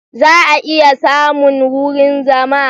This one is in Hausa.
Za a iya samun wurin zama?